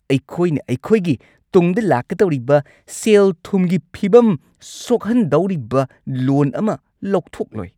ꯑꯩꯈꯣꯏꯅ ꯑꯩꯈꯣꯏꯒꯤ ꯇꯨꯡꯗ ꯂꯥꯛꯀꯗꯧꯔꯤꯕ ꯁꯦꯜ-ꯊꯨꯝꯒꯤ ꯐꯤꯕꯝ ꯁꯣꯛꯍꯟꯗꯧꯔꯤꯕ ꯂꯣꯟ ꯑꯃ ꯂꯧꯊꯣꯛꯂꯣꯏ!